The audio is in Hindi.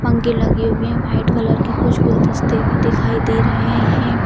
पंखे लगे हुए है व्हाइट कलर के कुछ गुलदस्ते भी दिखाई दे रहे है।